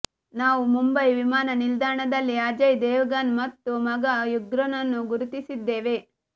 ನಾವು ಮುಂಬೈ ವಿಮಾನ ನಿಲ್ದಾಣದಲ್ಲಿ ಅಜಯ್ ದೇವಗನ್ ಮತ್ತು ಮಗ ಯುಗ್ರನ್ನು ಗುರುತಿಸಿದ್ದೇವೆ